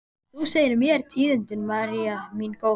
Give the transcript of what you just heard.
Þú segir mér tíðindin, María mín góð.